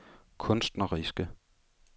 kunstneriske